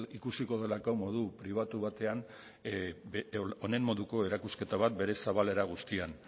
ikusiko delako modu pribatu batean honen moduko erakusketa bat bere zabalera guztian